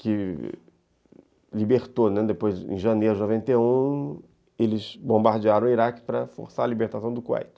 que libertou, né, em janeiro de noventa e um, eles bombardearam o Iraque para forçar a libertação do Kuwait.